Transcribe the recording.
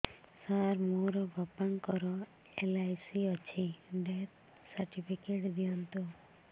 ସାର ମୋର ବାପା ଙ୍କର ଏଲ.ଆଇ.ସି ଅଛି ଡେଥ ସର୍ଟିଫିକେଟ ଦିଅନ୍ତୁ